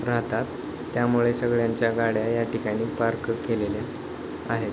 राहतात त्यामुळे सगळ्यांच्या गाड्या या ठिकाणी पार्क केलेल्या आहेत.